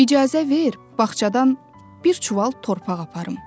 İcazə ver, bağçadan bir çuval torpaq aparım.